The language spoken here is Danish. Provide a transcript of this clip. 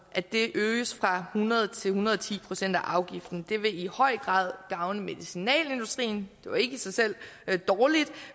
at det øges fra hundrede procent til en hundrede og ti procent af afgiften det vil i høj grad gavne medicinalindustrien det jo ikke i sig selv dårligt